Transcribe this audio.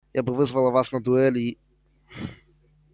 я бы вызвала вас на дуэль и